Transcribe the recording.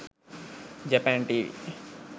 japan tv